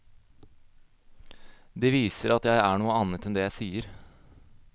Det viser at jeg er noe annet enn det jeg sier.